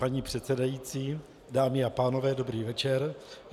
Paní předsedající, dámy a pánové, dobrý večer.